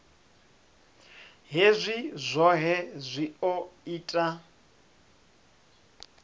hezwi zwohe zwi o ita